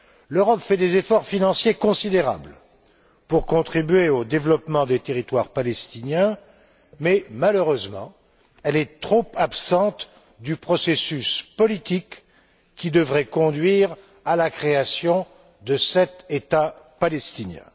L'Europe fait des efforts financiers considérables pour contribuer au développement des territoires palestiniens, mais, malheureusement, elle est trop absente du processus politique qui devrait conduire à la création de cet État palestinien.